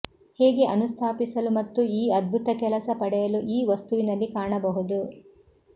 ಹೇಗೆ ಅನುಸ್ಥಾಪಿಸಲು ಮತ್ತು ಈ ಅದ್ಭುತ ಕೆಲಸ ಪಡೆಯಲು ಈ ವಸ್ತುವಿನಲ್ಲಿ ಕಾಣಬಹುದು